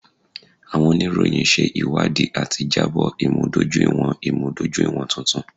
Awọn oniroyin ṣe iwadii ati jabo imudojuiwọn imudojuiwọn tuntun.